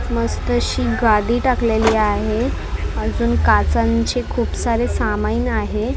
मस्त अशी गादी टाकलेली आहे अजून काचांचे खूप सारे सामाइन आहे .